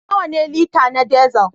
Nawa ne lita na Diesel?